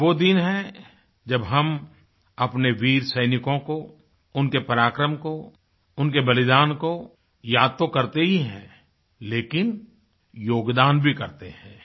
ये वो दिन है जब हम अपने वीर सैनिकों को उनके पराक्रम को उनके बलिदान को याद तो करते ही हैं लेकिन योगदान भी करते हैं